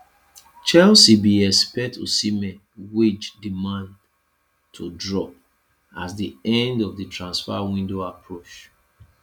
chelsea bin expect osimhen wage demands to drop as di end of di transfer window approach